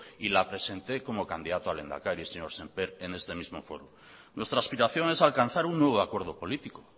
y la presenté como candidato a lehendakari señor sémper en este mismo foro nuestra aspiración es alcanzar un nuevo acuerdo político